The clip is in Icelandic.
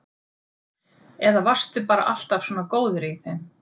Eða varstu bara alltaf svona góður í þeim?